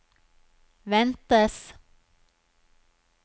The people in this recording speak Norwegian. ventes